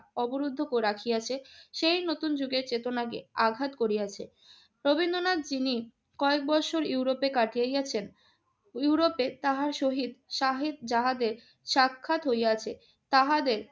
অবরুদ্ধ করে রাখিয়াছে সেই নতুন যুগের চেতনাকে আঘাত করিয়াছে। রবীন্দ্রনাথ যিনি কয়েক বৎসর ইউরোপে কাটাইয়া গেছেন, ইউরোপে তাহার সহিত সাহিক জাহাজে সাক্ষাৎ হইয়াছে। তাহাদের